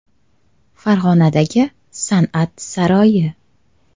Farg‘onadagi San’at saroyi.